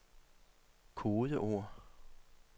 kodeord